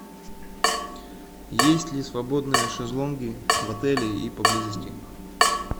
есть ли свободные шезлонги в отеле и поблизости